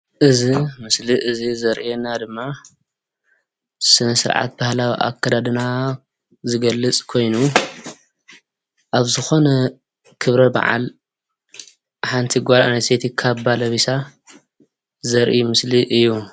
እዛ ምስሊ እዙይ ዘርእየና ድማ ስነሰርዓት ባህላዊ ኣከዳድና ዝገልፅ ኾይኑ ኣብ ዝኾነ ኽብረበዓል ሓንቲ ጓል አንስተይቲ ካባ ለቢሳ ዘርኢ ምስሊ እዩ።